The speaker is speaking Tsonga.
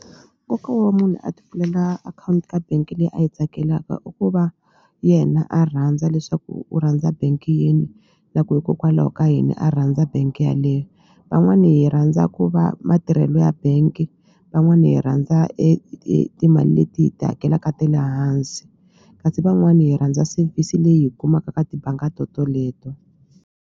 Nkoka wa munhu a ti pfulela akhawunti ka bank-i leyi a yi tsakelaka i ku va yena a rhandza leswaku u rhandza bank yini na ku hikokwalaho ka yini a rhandza bank yaleyo van'wani hi rhandza ku va matirhelo ya bank van'wani hi rhandza timali leti hi ti hakelaka ta le hansi kasi van'wani hi rhandza service leyi hi yi kumaka ka tibanga to toleto.